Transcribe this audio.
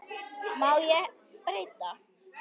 Má ég breyta?